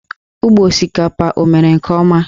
Ugbo osikapa o mere nke ọma?